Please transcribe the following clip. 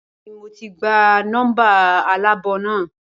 Bẹẹni mo ti gba nọmba aláàbò naa